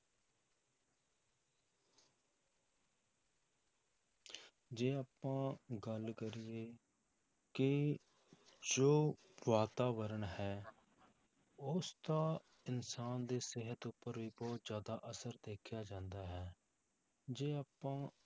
ਜੇ ਆਪਾਂ ਗੱਲ ਕਰੀਏ ਕਿ ਜੋ ਵਾਤਾਵਰਨ ਹੈ ਉਸ ਦਾ ਇਨਸਾਨ ਦੀ ਸਿਹਤ ਉੱਪਰ ਵੀ ਬਹੁਤ ਜ਼ਿਆਦਾ ਅਸਰ ਦੇਖਿਆ ਜਾਂਦਾ ਹੈ, ਜੇ ਆਪਾਂ